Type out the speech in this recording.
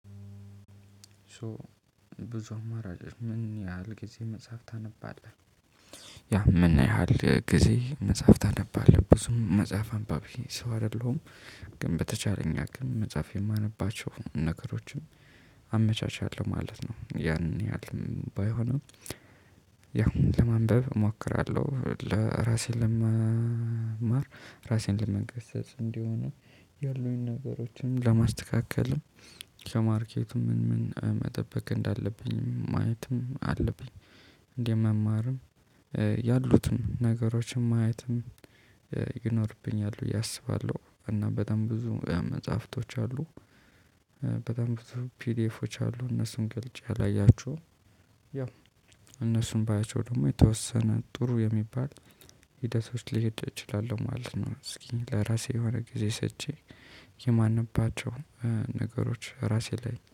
ሶ ብዙ አማራጭ ምን ያህል ጊዜ መጽሐፍ ታነባለህ ያ ምን ያህል ጊዜ መጽሐፍ ታነባለብህ ብዙም መጽሐፍ አንባቢ ሰው አይደለሁም። ግን በተቻለኝ አቅም መጽሐፍ የማነባቸው ነገሮችም አመቻችአለሁ ማለት ነው ያን ያህል ባይሆንም። ያው ለማንበብ እሞክራለሁ ለራሴን ለመማር ራሴን ለመገሰጽ እንዲሆን ያሉኝን ነገሮችንም ለማስተካከልም ከማርኬቱ ምን ምን መጠበቅ እንዳለብኝ ማየትም አለብኝ። እንዴት መማርም ያሉትም ነገሮችን ማየትም ይኖርብኛል ብዬ አስባለሁ። እና በጣም ብዙ መጽሐፍቶች አሉ። በጣም ፒዲኤፎች አሉ እነሱም ገልጬ አላያችሁም። ያ እነሱን ባያቸው ደግሞ የተወሰነ ጥሩ የሚባል ሂደቶች ሊሄድ እችላለሁ ማለት ነው። እስኪ ለራሴ የሆነ ጊዜ ሰጪ የማንባቸው ነገሮች ራሴ ላይ